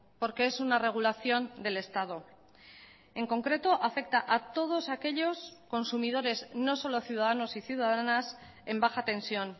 porque es una regulación del estado en concreto afecta a todos aquellos consumidores no solo ciudadanos y ciudadanas en baja tensión